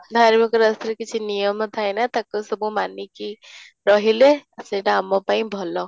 ଧାର୍ମିକ ରାସ୍ତାରେ କିଛି ନିୟମ ଥାଏ ନା ତାକୁ ସବୁ ମାନି କି ରହିଲେ ସେଇଟା ଆମ ପାଇଁ ଭଲ